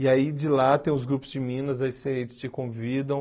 E aí de lá tem os grupos de Minas, aí você eles te convidam.